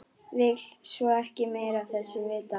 Vill svo ekki meira af þessu vita.